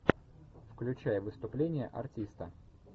включай выступление артиста